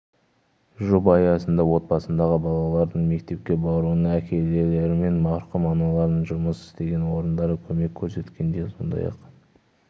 жоба аясында отбасындағы балалардың мектепке баруына әкелері мен марқұм аналарының жұмыс істеген орындары көмек көрсеткен сондай-ақ